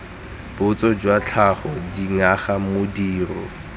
botso jwa tlhago dinyaga modiro